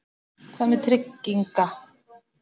Hvað með trygginga